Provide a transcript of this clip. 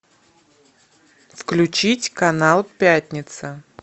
включить канал пятница